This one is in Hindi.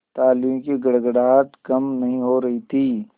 तालियों की गड़गड़ाहट कम नहीं हो रही थी